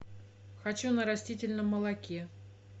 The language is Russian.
хочу на растительном молоке